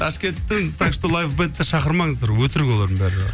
ташкенттің так что лайв бэндті шақырмаңыздар өтірік олардың барлығы